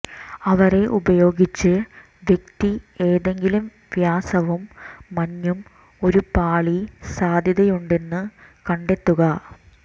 അവരെ ഉപയോഗിച്ച് വ്യക്തി ഏതെങ്കിലും വ്യാസവും മഞ്ഞും ഒരു പാളി സാധ്യതയുണ്ടെന്ന് കണ്ടെത്തുക